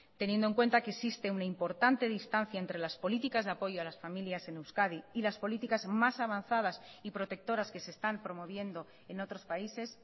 teniendo en cuenta que existe una importante distancia entre las políticas de apoyo a las familias en euskadi y las políticas más avanzadas y protectoras que se están promoviendo en otros países